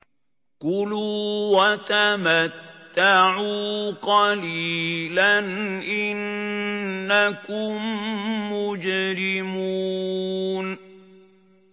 كُلُوا وَتَمَتَّعُوا قَلِيلًا إِنَّكُم مُّجْرِمُونَ